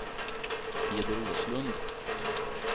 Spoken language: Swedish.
Peder Åslund